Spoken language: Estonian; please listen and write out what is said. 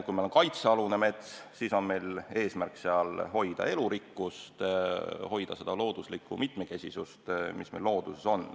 Kui meil on tegemist kaitsealuse metsaga, siis on eesmärk hoida sealset elurikkust, hoida sealset looduslikku mitmekesisust.